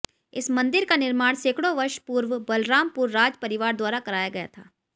इस मन्दिर का निर्माण सैकड़ों वर्ष पूर्व बलरामपुर राज परिवार द्वारा कराया गया था